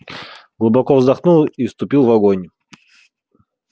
глубоко вздохнул и вступил в огонь